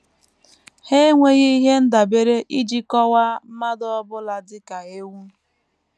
Ha enweghị ihe ndabere iji kọwaa mmadụ ọ bụla dị ka ewu.